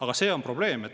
Aga see on probleem.